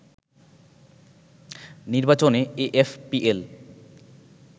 নির্বাচনে এএফপিএল